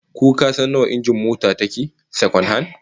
Ko kasan nawa injin mota ta yake, sakwan-han?